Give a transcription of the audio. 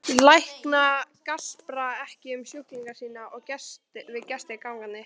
Læknar gaspra ekki um sjúklinga sína við gesti og gangandi.